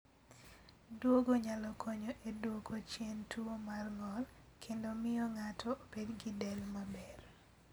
Duogo nyalo konyo e duoko chien tuwo mar ng'ol kendo miyo ng'ato obed gi del maber.